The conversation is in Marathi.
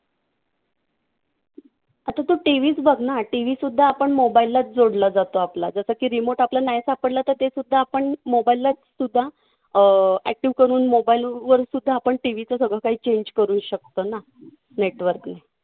आता तू TV च बघ ना TV सुद्धा आपण mobile लाच जोडला जातो आपला. जसं की remote आपलं नाही सापडलं तर तेसुद्धा आपण mobile लाच सुद्धा अं active करून mobile वर सुद्धा आपण TV चं सगळं काही change करू शकतो ना network ने.